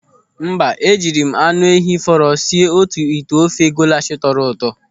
Mba, e jiri m anụ ehi fọrọ sie otu ite ofe golash tọrọ ụtọ.